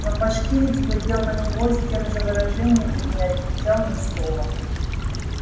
но башкирец глядел на него с тем же выражением и не отвечал ни слова